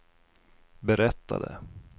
berättade